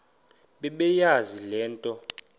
bebeyazi le nto